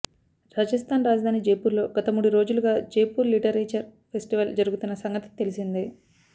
రాజస్థాన్ రాజధాని జైపూర్లో గత మూడు రోజులుగా జైపూర్ లిటరేచర్ ఫెస్టివల్ జరుగుతున్న సంగతి తెలిసిందే